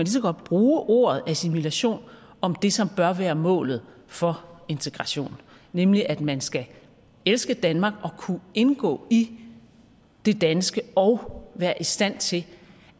så godt bruge ordet assimilation om det som bør være målet for integration nemlig at man skal elske danmark og kunne indgå i det danske og være i stand til